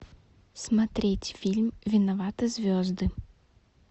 смотреть фильм виноваты звезды